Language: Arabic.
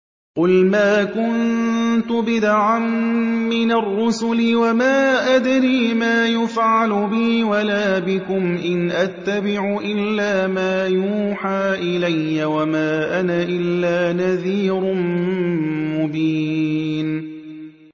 قُلْ مَا كُنتُ بِدْعًا مِّنَ الرُّسُلِ وَمَا أَدْرِي مَا يُفْعَلُ بِي وَلَا بِكُمْ ۖ إِنْ أَتَّبِعُ إِلَّا مَا يُوحَىٰ إِلَيَّ وَمَا أَنَا إِلَّا نَذِيرٌ مُّبِينٌ